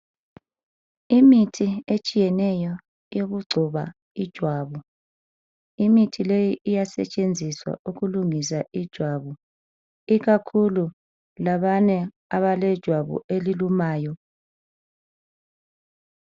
Imithi etshiyeneyo yokugcoba ijwabu. Imithi le iyasetshenziswa ukulungisa ijwabu ikakhulu labana abalejwabu elilumayo.